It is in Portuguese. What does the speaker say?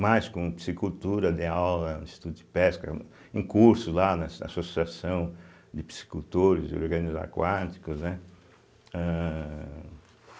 mais com Psicultura, dei Aula no Instituto de Pesca, um curso lá na Associação de Psicultores e Organismos Aquáticos, né. âh